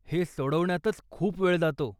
हे सोडवण्यातच खूप वेळ जातो.